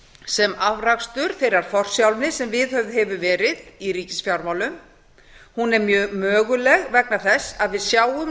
sem afrakstur þeirrar forsjálni sem viðhöfð hefur verið í ríkisfjármálum hún er mjög möguleg vegna þess að við sjáum